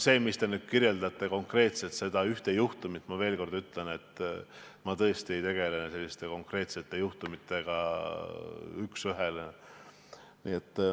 See üks juhtum, mida te konkreetselt kirjeldasite – ma veel kord ütlen, et ma tõesti ei tegele selliste konkreetsete juhtumitega.